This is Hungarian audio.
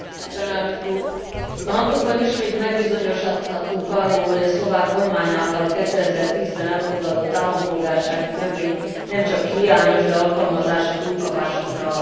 A napokban ismét megbizonyosodhattunk arról, hogy a szlovák kormány által 2010 ben elfogadott állampolgársági törvény nemcsak hiányos, de alkalmazása túlkapásokra ad lehetőséget.